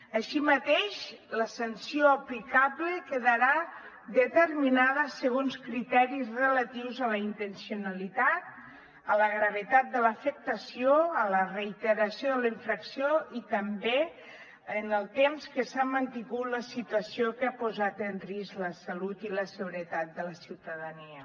així mateix la sanció aplicable quedarà determinada segons criteris relatius a la intencionalitat a la gravetat de l’afectació a la reiteració de la infracció i també en el temps que s’ha mantingut la situació que ha posat en risc la salut i la seguretat de la ciutadania